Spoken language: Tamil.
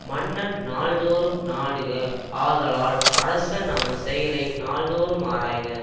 மன்னன் நாள்தோறும் நாடுக ஆதலால் அரசன் அவன் செயலை நாள்தோறும் ஆராய்க